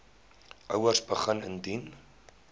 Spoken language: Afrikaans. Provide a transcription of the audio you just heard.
ouers begin indien